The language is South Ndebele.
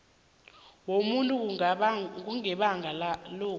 wobuntu kungabanga lokhu